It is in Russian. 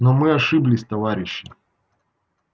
но мы ошиблись товарищи